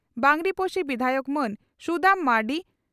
ᱵᱟᱸᱜᱽᱨᱤᱯᱚᱥᱤ ᱵᱤᱫᱷᱟᱭᱚᱠ ᱢᱟᱹᱱ ᱥᱩᱫᱟᱢ ᱢᱟᱨᱱᱰᱤ